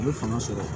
A bɛ fanga sɔrɔ